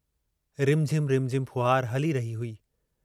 रिमझिम-रिमझिम फुहार हली रही हुई।